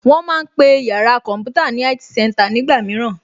Wón ma ń pe yàrá kọ̀ḿpútà ní IT center nígbà mìíràn